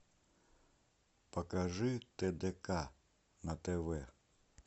покажи тдк на тв